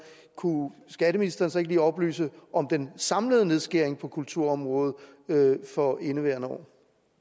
kunne skatteministeren så ikke lige oplyse om den samlede nedskæring på kulturområdet for indeværende år